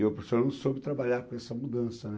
E o professor não soube trabalhar com essa mudança, né.